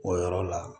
O yɔrɔ la